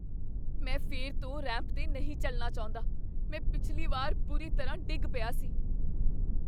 ਮੈਂ ਫਿਰ ਤੋਂ ਰੈਂਪ 'ਤੇ ਨਹੀਂ ਚੱਲਣਾ ਚਾਹੁੰਦਾ। ਮੈਂ ਪਿਛਲੀ ਵਾਰ ਬੁਰੀ ਤਰ੍ਹਾਂ ਡਿੱਗ ਪਿਆ ਸੀ।